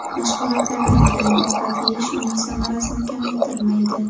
Mashg‘ulotlardan keyin ovqat yeyish uning samarasini kamaytirmaydi.